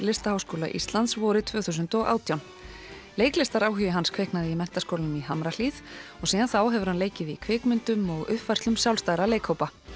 Listaháskóla Íslands vorið tvö þúsund og átján hans kviknaði í Menntaskólanum í Hamrahlíð og síðan þá hefur hann leikið í kvikmyndum og uppfærslum sjálfstæðra leikhópa